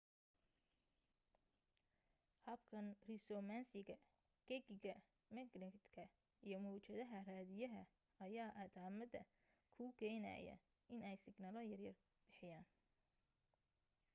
habkan risoonansiga gegiga magnatka iyo mawjadaha raadiyaha ayaa atamada ku keenaya inay signalo yaryar bixiyaan